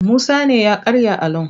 Musa ne ya karya alon.